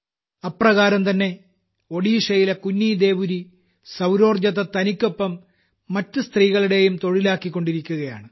അപ്രകാരം തന്നെ ഒഡീഷയിലെ ഒരു മകൾ കുന്നീദേവുരി സൌർജ്ജത്തെ തനിക്കൊപ്പം മറ്റു സ്ത്രീകളുടേയും തൊഴിലാക്കിക്കൊണ്ടിരിക്കുകയാണ്